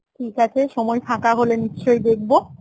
ঠিক আছে সময় ফাঁকা হলে নিশ্চয়ই দেখব